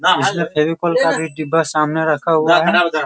इसमें फेविकोल काट के डिब्बा सामने रखा हुआ है।